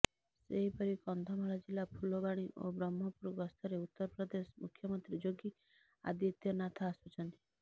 ସେହିପରି କନ୍ଧମାଳ ଜିଲ୍ଲା ଫୁଲବାଣୀ ଓ ବ୍ରହ୍ମପୁର ଗସ୍ତରେ ଉତ୍ତରପ୍ରଦେଶ ମୁଖ୍ୟମନ୍ତ୍ରୀ ଯୋଗୀ ଆଦିତ୍ୟନାଥ ଆସୁଛନ୍ତି